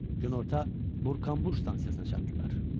Günorta Burkanbur stansiyasına çatdılar.